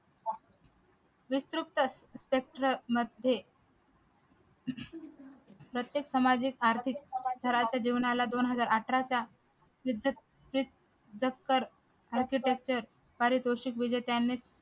प्रत्येक सामाजिक आर्थिक जेवणाला दोन हजार अठरा च्या पारितोषिक विजेत्याने